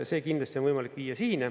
See kindlasti on võimalik viia …..